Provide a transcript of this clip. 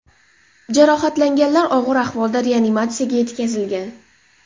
Jarohatlanganlar og‘ir ahvolda reanimatsiyaga yetkazilgan.